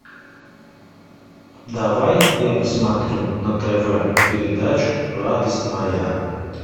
давай я посмотрю на тв передачу радость моя